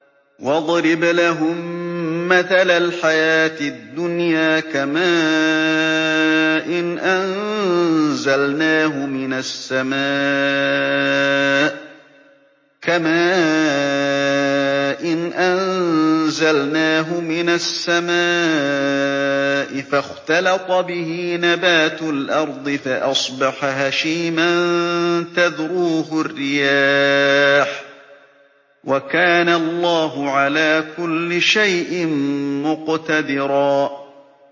وَاضْرِبْ لَهُم مَّثَلَ الْحَيَاةِ الدُّنْيَا كَمَاءٍ أَنزَلْنَاهُ مِنَ السَّمَاءِ فَاخْتَلَطَ بِهِ نَبَاتُ الْأَرْضِ فَأَصْبَحَ هَشِيمًا تَذْرُوهُ الرِّيَاحُ ۗ وَكَانَ اللَّهُ عَلَىٰ كُلِّ شَيْءٍ مُّقْتَدِرًا